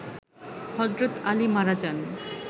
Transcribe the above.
হযরত আলী মারা যান